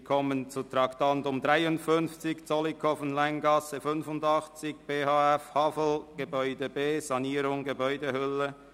Wir kommen zum Traktandum 53, «Zollikofen, Länggasse 85, BFH HAFL, Gebäude B, Sanierung Gebäudehülle.